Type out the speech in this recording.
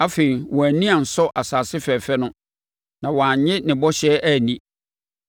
Afei, wɔn ani ansɔ asase fɛfɛ no; na wɔannye ne bɔhyɛ anni.